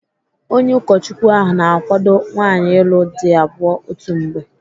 Onye ụkọchukwu ahụ na-akwado nwaanyị ịlụ di abụọ otu mgbe.